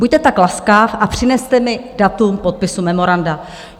Buďte tak laskav a přineste mi datum podpisu memoranda.